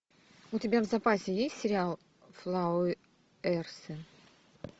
у тебя в запасе есть сериал флауэрсы